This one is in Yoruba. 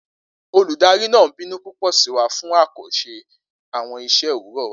Oludari naa binu pupọ si wa fun a ko ṣe awọn iṣẹ owurọ wa.